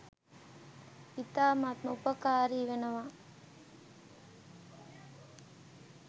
ඉතාමත්ම උපකාරී වෙනවා.